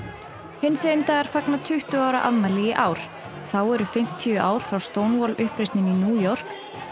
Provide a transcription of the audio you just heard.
hinsegin dagar fagna tuttugu ára afmæli í ár þá eru fimmtíu ár frá uppreisninni í New York